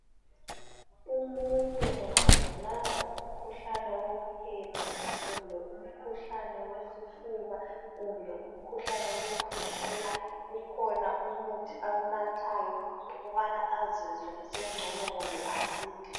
Umuntu engabulawa ngumkhuhlane wophepha kumbe umkhuhlane wesifuba kumbe umkhuhlane wokukhwehlela kukhona umuthi awunathayo ukubana azizwe esengcono kumbe asile.